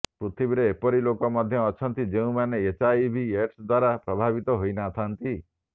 ପୃଥିବୀରେ ଏପରି ଲୋକ ମଧ୍ୟ ଅଛନ୍ତି ଯେଉଁମାନେ ଏଚଆଇଭି ଏଡସ୍ ଦ୍ବାରା ପ୍ରଭାବିତ ହୋଇନଥାନ୍ତି